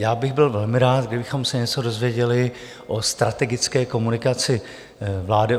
Já bych byl velmi rád, kdybychom se něco dozvěděli o strategické komunikaci vlády.